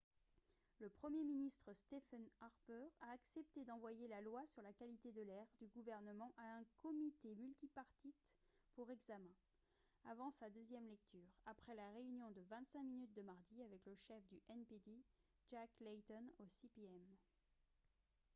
le premier ministre stephen harper a accepté d'envoyer la « loi sur la qualité de l'air » du gouvernement à un comité multipartite pour examen avant sa deuxième lecture après la réunion de 25 minutes de mardi avec le chef du npd jack layton au cpm